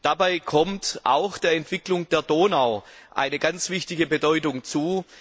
Dabei kommt auch der Entwicklung der Donau eine ganz wichtige Bedeutung zu.